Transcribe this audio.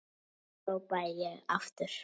hrópaði ég aftur.